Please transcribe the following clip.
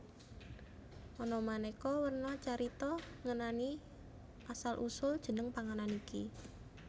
Ana maneka werna carita ngenani asl usul jeneng panganan iki